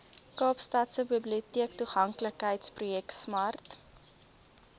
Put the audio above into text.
kaapstadse biblioteektoeganklikheidsprojek smart